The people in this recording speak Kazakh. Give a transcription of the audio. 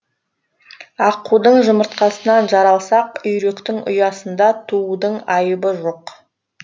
аққудың жұмыртқасынан жаралсақ үйректің ұясында туудың айыбы жоқ